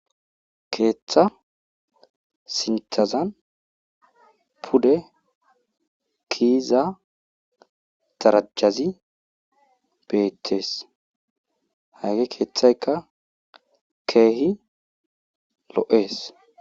Keeththa sinththazan pude keyida darajazi beetees. hage keethaykka keehi lo'ees.